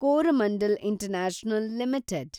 Coromandel international limited